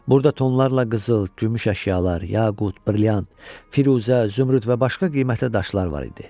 Burda tonlarla qızıl, gümüş əşyalar, yaqut, brilyant, firuzə, zümrüd və başqa qiymətli daşlar var idi.